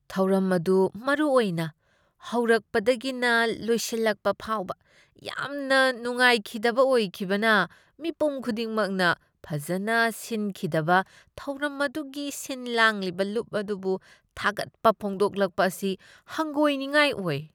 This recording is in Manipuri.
ꯊꯧꯔꯝ ꯑꯗꯨ ꯃꯔꯨꯑꯣꯏꯅ ꯍꯧꯔꯛꯄꯗꯒꯤꯅ ꯂꯣꯏꯁꯤꯜꯂꯛꯄ ꯐꯥꯎꯕ ꯌꯥꯝꯅ ꯅꯨꯡꯥꯏꯈꯤꯗꯕ ꯑꯣꯏꯈꯤꯕꯅ ꯃꯤꯄꯨꯝ ꯈꯨꯗꯤꯡꯃꯛꯅ ꯐꯖꯅ ꯁꯤꯟꯈꯤꯗꯕ ꯊꯧꯔꯝ ꯑꯗꯨꯒꯤ ꯁꯤꯟ ꯂꯥꯡꯂꯤꯕ ꯂꯨꯞ ꯑꯗꯨꯕꯨ ꯊꯥꯒꯠꯄ ꯐꯣꯡꯗꯣꯛꯂꯛꯄ ꯑꯁꯤ ꯍꯪꯒꯣꯏꯅꯤꯡꯉꯥꯏ ꯑꯣꯏ ꯫